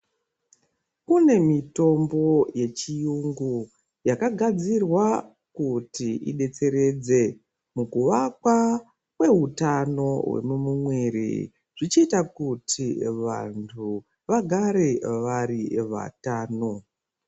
Kune mitombo ye chiyungu yaka gadzirwa kuti idetseredze muku vakwa kwe hutano hwe mumu mwiri zvichi ita kuti vantu vagare vari vatano.